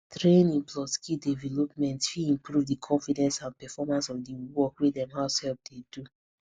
training plus skill development fit improve the confidence and performance of the work wey dem househelp dey do